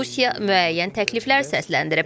Rusiya müəyyən təkliflər səsləndirib.